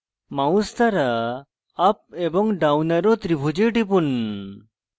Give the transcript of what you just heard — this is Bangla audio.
mouse দ্বারা up এবং down arrow ত্রিভুজে টিপুন